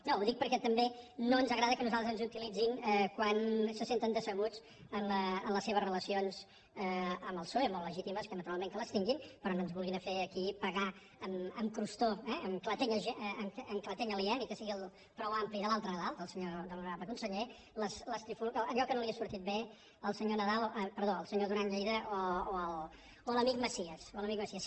no ho dic perquè tampoc no ens agrada que a nosaltres ens utilitzin quan se senten decebuts en les seves relacions amb el psoe molt legítimes naturalment que les tinguin però no ens vulguin fer aquí pagar amb crostó en clatell aliè ni que sigui prou ampli de l’altre nadal de l’honorable conseller allò que no li ha sortit bé al senyor nadal perdó al senyor duran lleida o a l’amic macias o a l’amic macias